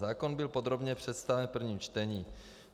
Zákon byl podrobně představen v prvním čtení.